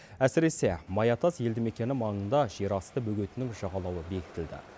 әсіресе маятас елді мекені маңында жерасты бөгетінің жағалауы бекітілді